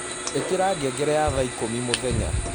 ĩkĩra ngengere ya thaa ĩkũmĩ mũthenya